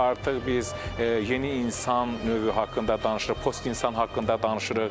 Artıq biz yeni insan növü haqqında danışırıq, post-insan haqqında danışırıq.